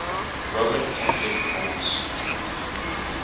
roman catholic monks